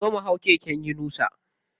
Zo mu hau keken yunusa.